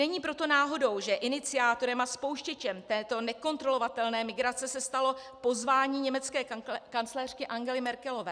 Není proto náhodou, že iniciátorem a spouštěčem této nekontrolovatelné migrace se stalo pozvání německé kancléřky Angely Merkelové.